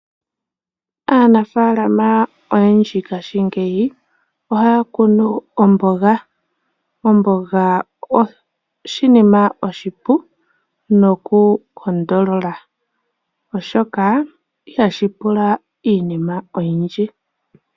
Aanafalama oyendji ngaashingeyi ohaya kunu omboga. Omboga oshinima oshipu noku taka mitha, oshoka ihashi pula iinima oyindji.